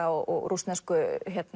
og rússnesku